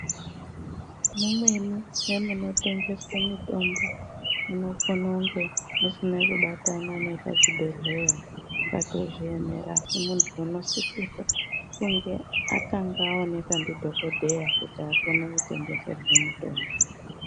Mumwen memunotengeswe mitombo munokone kunge musina kubatana nechibhedhlera, pakatozviemera asi muntu unosisirwe kunge atanga aonekwa ndidhogodheya kuti akone kutengeserwe mutombo.